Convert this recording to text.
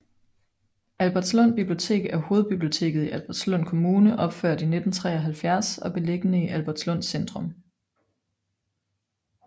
Albertslund Bibliotek er hovedbiblioteket i Albertslund Kommune opført i 1973 og beliggende i Albertslund Centrum